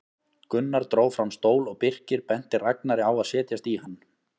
Gunnar dró fram stól og Birkir benti Ragnari að setjast í hann.